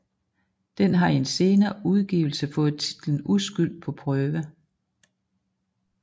Den har i en senere udgivelse fået titlen Uskyld på prøve